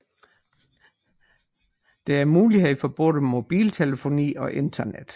Der er mulighed for både mobiltelefoni og internet